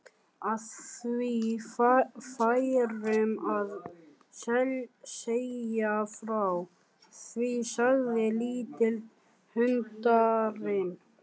Að við færum að segja frá því, sagði litli höndlarinn.